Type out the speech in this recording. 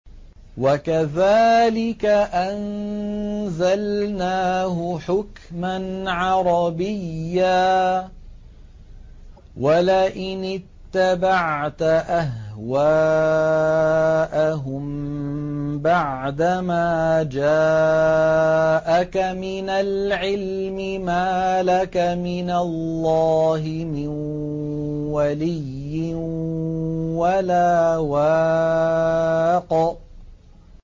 وَكَذَٰلِكَ أَنزَلْنَاهُ حُكْمًا عَرَبِيًّا ۚ وَلَئِنِ اتَّبَعْتَ أَهْوَاءَهُم بَعْدَمَا جَاءَكَ مِنَ الْعِلْمِ مَا لَكَ مِنَ اللَّهِ مِن وَلِيٍّ وَلَا وَاقٍ